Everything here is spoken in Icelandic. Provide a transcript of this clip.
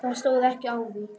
Það stóð ekki á því.